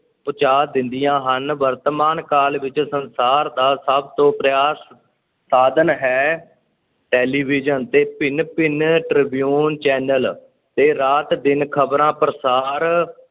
ਪਹੁੰਚਾ ਦਿੰਦੀਆਂ ਹਨ, ਵਰਤਮਾਨ ਕਾਲ ਵਿੱਚ ਸੰਸਾਰ ਦਾ ਸਭ ਤੋਂ ਪ੍ਰਿਆ ਸਾਧਨ ਹੈ, ਟੈਲੀਵਿਜ਼ਨ ਤੇ ਭਿੰਨ-ਭਿੰਨ ਟ੍ਰਿਬਿਊਨ channel ਤੇ ਰਾਤ-ਦਿਨ ਖ਼ਬਰਾਂ ਪ੍ਰਸਾਰ